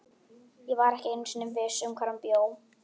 Ég var ekki einu sinni viss um hvar hann bjó.